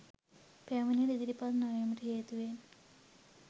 පැමිණිලි ඉදිරිපත් නොවීම හේතුවෙන්